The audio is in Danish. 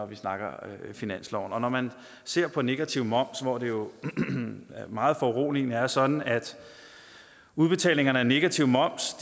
vi snakker finansloven når man ser på negativ moms hvor det jo meget foruroligende er sådan at udbetalingerne af negativ moms